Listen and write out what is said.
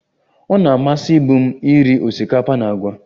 Ọ na-amasịbụ m iri osikapa na agwa